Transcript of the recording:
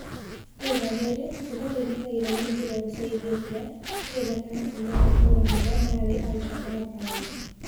Itũra riri, riria rigitagirwo na mbirarũ cia Ethiopia, rii gatagati mwa matũra maria mari al-shabab aingi.